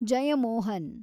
Jayamohan